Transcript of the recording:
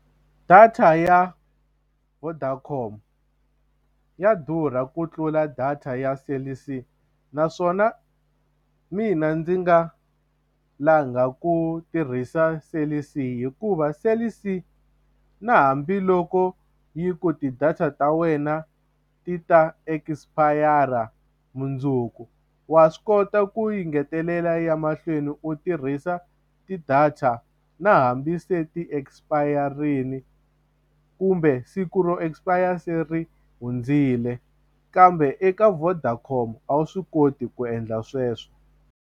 Data ya Vodacom ya durha ku tlula data ya Cell C naswona mina ndzi nga langa ku tirhisa Cell C hikuva Cell C na hambiloko yi ku ti-data ta wena ti ta expire mundzuku wa swi kota ku yi ngetelela ya mahlweni u tirhisa ti-data na hambi se ti-expire-rile kumbe siku ro expire se ri hundzile kambe eka Vodacom a wu swi koti ku endla sweswo.